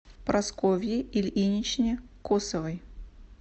прасковье ильиничне косовой